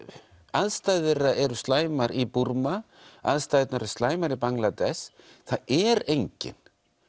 aðstæður eru slæmar í Búrma aðstæðurnar eru slæmar í Bangladesh það er enginn